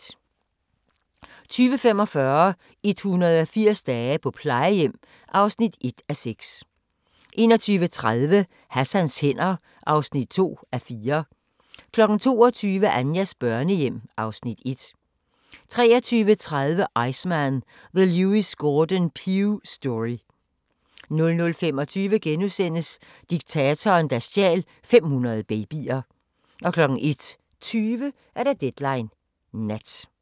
20:45: 180 dage på plejehjem (1:6) 21:30: Hassans hænder (2:4) 22:00: Anjas børnehjem (Afs. 1) 23:30: Iceman – The Lewis Gordon Pugh Story 00:25: Diktatoren, der stjal 500 babyer * 01:20: Deadline Nat